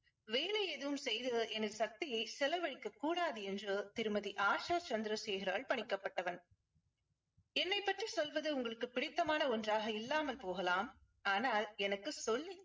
வேலை எதுவும் செய்து எனது சக்தியை செலவழிக்க கூடாது என்று திருமதி ஆஷா சந்திரசேகரால் பணிக்கப்பட்டவன் என்னைப் பற்றி சொல்வது உங்களுக்கு பிடித்தமான ஒன்றாக இல்லாமல் போகலாம். ஆனால் எனக்கு சொல்லி